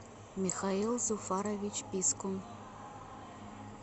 михаил зуфарович пискун